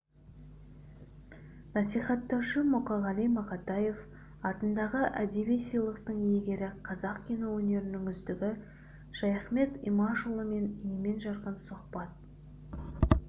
насихаттаушы мұқағали мақатаев атындағы әдеби сыйлықтың иегері қазақ кино өнерінің үздігі шаяхмет имашұлымен емен-жарқын сұхбат